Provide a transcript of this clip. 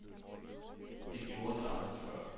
Det gjorde de aldrig før.